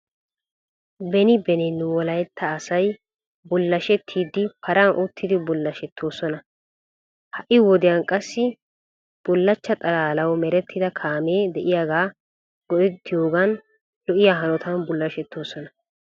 Beni beni nu wolaytta asay bullashetiidi paran uttidi bulashettoosona. A Ha'i wodiyan qassi bullachcha xalaalawu meretida kaamee de'iyaaga go'etiyoogan lo'iya hanotan bullashettoosona.